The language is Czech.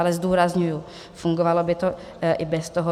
Ale zdůrazňuji, fungovalo by to i bez toho.